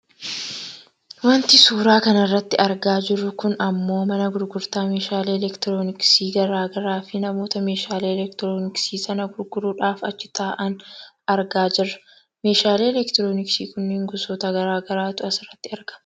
Wanti suuraa kanarratti argaa jirru kun ammoo mana gurgurtaa meeshaalee elektirooniksi gara garaafi namoota meeshaalee elektirooniksi sana gurguruudhaaf achi taa'an argaa jirra. Meeshaalee elektirooniksi kunniin gosoota gara garaatu asirratti argama.